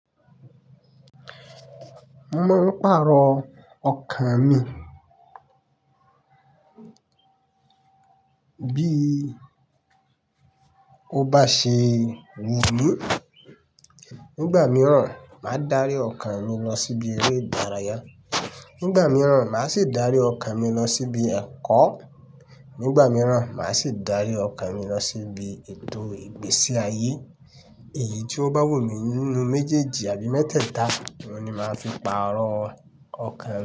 Mo maa n parọ okan mi bí ó bá ṣe wù mí. Nígbà mìíràn, màá dárí ọkàn mi lọ síbi eré ìdárayá, nígbà mìíràn màá sì dárí ọkàn mi lọ síbi ẹ̀kọ́, nígbà mìíràn màá sì dárí ọkàn mi lọ síbi ètò ìgbésí ayé. Èyí ti o baa wù mi ninu mejeeji abi métèèta ohun ni ma fi paarọ okan.